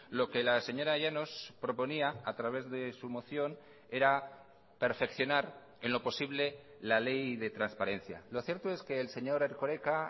lo que la señora llanos proponía a través de su moción era perfeccionar en lo posible la ley de transparencia lo cierto es que el señor erkoreka